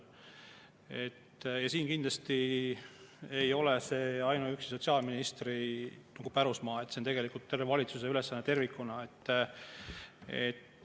See ei ole kindlasti ainuüksi sotsiaalministri pärusmaa, see on tegelikult terve valitsuse ülesanne tervikuna.